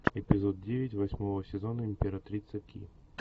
эпизод девять восьмого сезона императрица ки